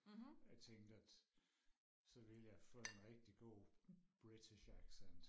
jeg tænke at så ville jeg få en rigtig god british accent